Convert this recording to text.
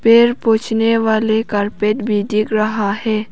पैर पोछने वाले कारपेट भी दिख रहा है।